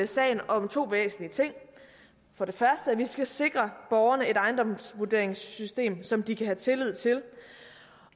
sagen om to væsentlige ting for det første skal vi sikre borgerne et ejendomsvurderingssystem som de kan have tillid til